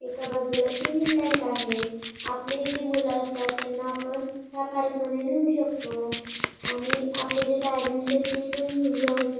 एका बाजूला swimming tank आहे आपली जी मुले असतात त्यांना आपण ह्या पार्कमध्ये न्हेऊ शकतो आणि आपले जे पेरेंट्स ते पण घेऊन जाऊ शक--